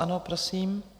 Ano, prosím.